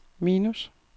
minus